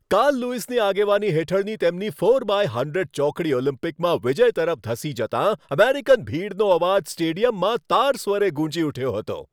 Karl લુઈસની આગેવાની હેઠળની તેમની ફોર બાય હંડ્રેડ ચોકડી ઓલિમ્પિકમાં વિજય તરફ ધસી જતાં અમેરિકન ભીડનો અવાજ સ્ટેડિયમમાં તાર સવારે ગૂંજી ઉઠ્યો હતો.